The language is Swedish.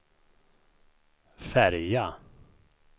färja